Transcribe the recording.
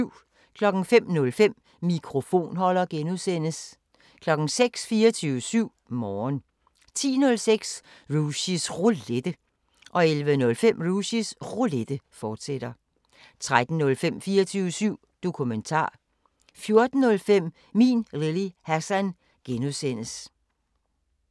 05:05: Mikrofonholder (G) 06:00: 24syv Morgen 10:05: Rushys Roulette 11:05: Rushys Roulette, fortsat 13:05: 24syv Dokumentar 14:05: Min Lille Hassan (G)